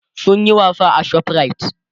sun Yi wasa a shoprite